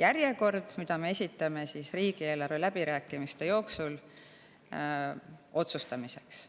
järjekord, mille me esitame riigieelarve läbirääkimiste ajal otsustamiseks.